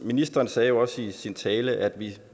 ministeren sagde jo også i sin tale at